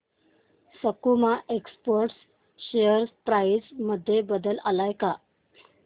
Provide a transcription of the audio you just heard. सकुमा exports share price मध्ये बदल आलाय का